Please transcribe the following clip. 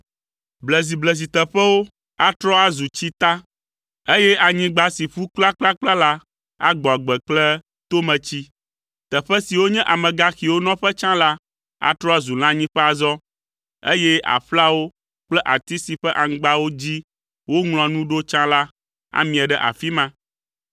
Blezibleziteƒewo atrɔ azu tsita eye anyigba si ƒu kplakplakpla la agbɔ agbe kple tometsi. Teƒe siwo nye amegaxiwo nɔƒe tsã la atrɔ azu lãnyiƒe azɔ, eye aƒlawo kple ati si ƒe aŋgbawo dzi woŋlɔa nu ɖo tsã la amie ɖe afi ma.